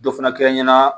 Dɔ fana kɛ n ɲɛna